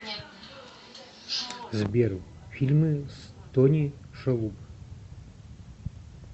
сбер фильмы с тони шалуб